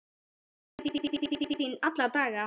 Ég sakna þín alla daga.